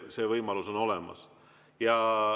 See võimalus on olemas.